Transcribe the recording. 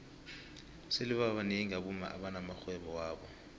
sele babnengi abomma abana maxhwebo wabo